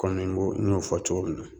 Kɔmi n ko n y'o fɔ cogo min na